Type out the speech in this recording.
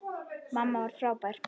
Mamma var frábær.